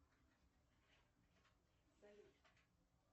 салют